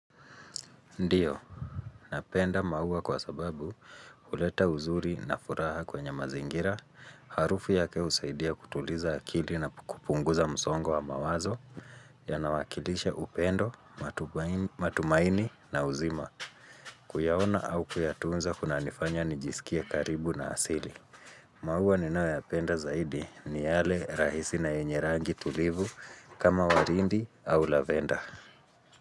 Ndiyo, napenda maua kwa sababu huleta uzuri na furaha kwenye mazingira, harufu yake husaidia kutuliza akili na kupunguza msongo wa mawazo, ya nawakilisha upendo, matumaini na uzima, kuyaona au kuyatunza kuna nifanya nijisikie karibu na asili. Maua ninayo ya penda zaidi ni yale rahisi na yenye rangi tulivu kama warindi au lavenda.